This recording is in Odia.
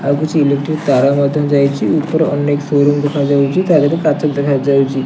ଆଉ କିଛି ଇଲେକ୍ଟ୍ରିକ ତାର ମଧ୍ୟ ଯାଇଚି ଉପରେ ଅନେକ ସୋରୁମ୍ ଦେଖା ଯାଉଚି ତା ଦେହେରେ କାଚ ଦେଖା ଯାଉଚି ।